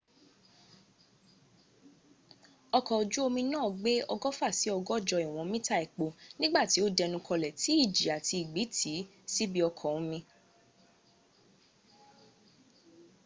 ọkọ̀ ojú omi náà gbé ọgọ́fà sí ọgọ́jọ ìwọ̀n mita epo nígbà tí ó dẹnu kọlẹ̀ tí ìjì àti ìgbì tì í sínú ibi ọkọ̀ omi